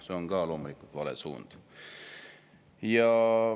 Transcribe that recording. See on loomulikult vale suund.